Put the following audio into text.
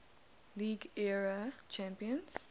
league era champions